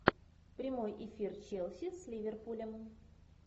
прямой эфир челси с ливерпулем